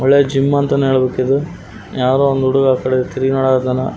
ಒಳ್ಳೆ ಜಿಮ್ಮ್ ಅಂತಾನೆ ಹೇಳ್ಬೇಕಿದು ಯಾರೊ ಒಂದು ಹುಡುಗ ತಿರ್ಗಿ ನೋಡಕತ್ತಾನ.